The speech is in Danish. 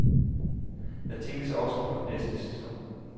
Der tænkes også på næste sæson.